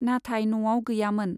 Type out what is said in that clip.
नाथाय न'आव गैयामोन।